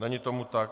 Není tomu tak.